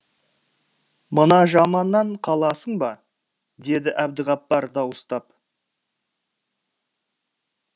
мына жаманнан қаласың ба деді әбдіғаппар дауыстап